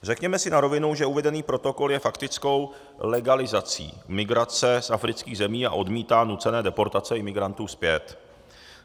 Řekněme si na rovinu, že uvedený protokol je faktickou legalizací migrace z afrických zemí a odmítá nucené deportace imigrantů zpět.